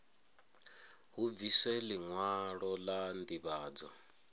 hu bviswe liṅwalo la ndivhadzo